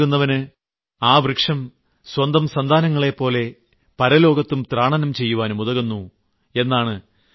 വൃക്ഷം ദാനം നൽകുന്നവന് ആ വൃക്ഷം സ്വന്തം സന്താനങ്ങളെപ്പോലെ പരലോകത്തും ത്രാണനം ചെയ്യുവാനും ഉതകുന്നു